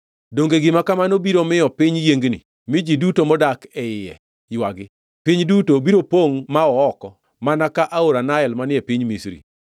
“Donge gima kamano biro miyo piny yiengni mi ji duto modak e iye ywagi? Piny duto biro pongʼ ma oo oko mana ka aora Nael manie piny Misri.”